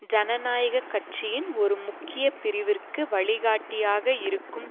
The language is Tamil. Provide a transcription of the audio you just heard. ஜனநாயக கட்சியின் ஒரு முக்கிய பிரிவிற்கு வழிகாட்டியாக இருக்கும்